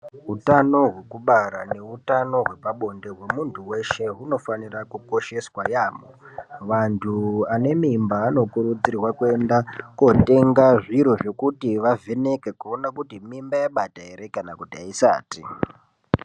Hutano hwekubara neutano hwepabonde hwemuntu veshe hunofanira kukosheswa yaamho. Vantu vane mimba vanokurudzirwa kwenda kotenga zviro zvekuti vavheneke kuona kuti mimba yabata ere kana kuti haisati.